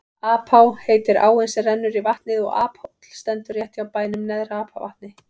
Apá heitir áin sem rennur í vatnið og Aphóll stendur rétt hjá bænum Neðra-Apavatni.